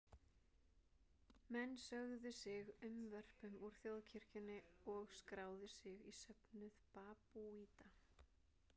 Menn sögðu sig unnvörpum úr þjóðkirkjunni og skráðu sig í söfnuð babúíta.